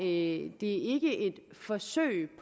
ikke et forsøg